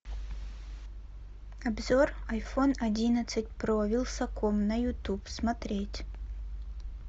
обзор айфон одиннадцать про вилсаком на ютуб смотреть